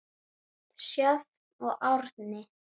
Sjöfn og Árni.